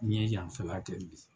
N ye yanfɛ la kɛ bi